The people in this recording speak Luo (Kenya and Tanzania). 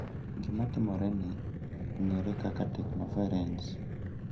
Gima timore ni, ong'ere kaka "teknoferens,"